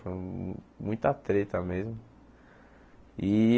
Foi muita treta mesmo.